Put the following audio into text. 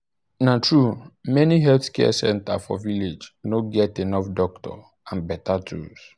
na true many health center for village no get enough doctor and better tools.